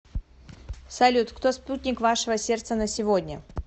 салют кто спутник вашего сердца на сегодня